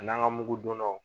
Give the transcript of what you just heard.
A n'an ka mugudonnaw